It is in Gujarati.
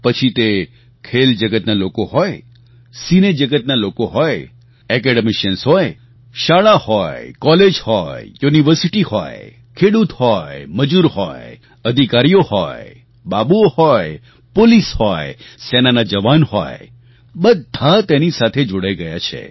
પછી તે ખેલજગતના લોકો હોય સિનેજગતના લોકો હોય એકેડેમિશિયન્સ હોય શાળા હોય કોલેજ હોય યુનિવર્સિટી હોય ખેડૂત હોય મજૂર હોય અધિકારીઓ હોય બાબુઓ હોય પોલીસ હોય સેનાના જવાન હોય બધા તેની સાથે જોડાઈ ગયા છે